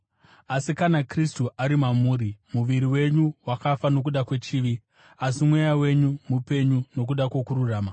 Asi kana Kristu ari mamuri, muviri wenyu wakafa nokuda kwechivi, asi Mweya wenyu mupenyu nokuda kwokururama.